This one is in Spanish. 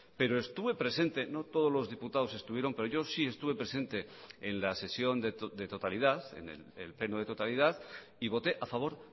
pero estuve presente no todos los diputados estuvieron pero yo sí estuve presente en la sesión de totalidad en el pleno de totalidad y voté a favor